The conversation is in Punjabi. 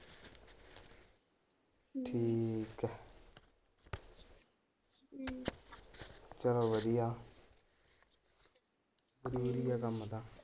ਚਲੋ ਵਧੀਆ ਕੰਮ ਤਾਂ।